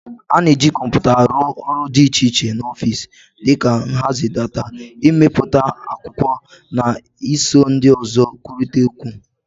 A na-eji kọmpụta arụ ọrụ dị iche iche n'ọfịs, dị ka nhazi data, imepụta akwụkwọ, na iso ndị ọzọ na-ekwurịta okwu.